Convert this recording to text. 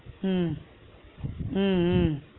உம் உம் உம்